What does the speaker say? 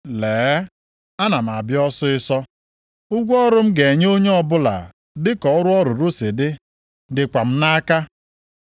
“Lee, ana m abịa ọsịịsọ! Ụgwọ ọrụ m ga-enye onye ọbụla dịka ọrụ ọ rụrụ si dị dịkwa m nʼaka.